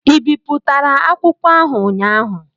Ị bipụtara akwụkwọ ahụ ụnyaahụ?